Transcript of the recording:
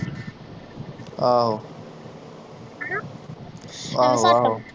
ਆਹੋ ਹਣਾ ਆਹੋ ਆਹੋ